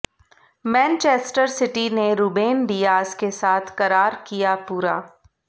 Manchester City ने Ruben Dias के साथ करार किया पूरा